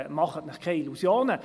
Machen Sie sich keine Illusionen.